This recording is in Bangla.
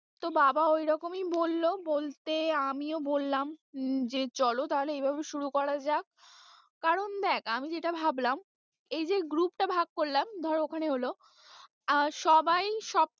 তো বাবা ঐরকমই বললো বলতে আমিও বললাম উম যে চলো তাহলে এইভাবে শুরু করা যাক, কারণ দেখ আমি যেটা ভাবলাম এইযে group টা ভাগ করলাম ধর ওখানে হলো আহ সবাই সব,